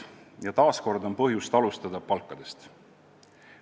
Ja taas on põhjust alustada palkadest.